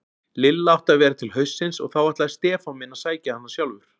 Lilla átti að vera til haustsins og þá ætlaði Stefán minn að sækja hana sjálfur.